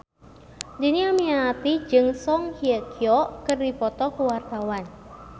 Dhini Aminarti jeung Song Hye Kyo keur dipoto ku wartawan